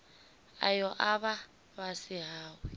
ayo a vha fhasi hawe